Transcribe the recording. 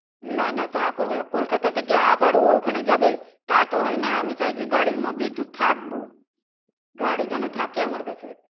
না না তা করবেন না কলকাতা থেকে আবার ও ওখানে যাবে তা তো হয় না, আমি চাইছি মধ্যে একটু থাকবো গাড়ি যেন থাকে আমার কাছে